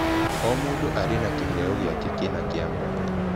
O mũndũ arĩ na kĩheo gĩake kĩna kĩa mwanya.